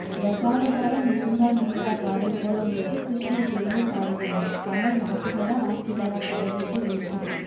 தசாவதார முகுந்தா முகுந்தா பாடல் போல உள்ளது கிருஷ்ணர் பெருமை பாடுகிறது கமல் நாத்திகரா ஆத்திகரா கடவுளுக்கே வெளிச்சம்